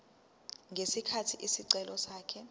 ngesikhathi isicelo sakhe